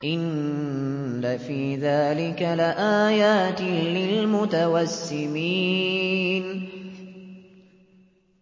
إِنَّ فِي ذَٰلِكَ لَآيَاتٍ لِّلْمُتَوَسِّمِينَ